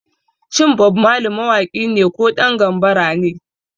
Shin Bob Marley mawaki ne ko ɗan gambara ne?